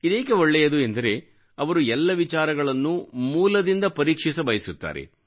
ಇದೇಕೆ ಒಳ್ಳೆಯದು ಎಂದರೆ ಅವರು ಎಲ್ಲ ವಿಚಾರಗಳನ್ನೂ ಮೂಲದಿಂದ ಪರೀಕ್ಷಿಸಬಯಸುತ್ತಾರೆ